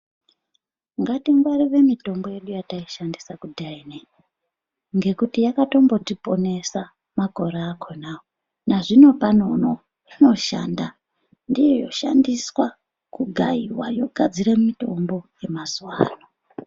Ngatingwarire mitombo yedu ino yataishandise kudhaya inoi ngekuti yakatombotiponesa makore akonawo, nazvinopano uno inoshanda, ndiyo yoshandiswa kugayiwa yogadzire mitombo yemazuwa ano.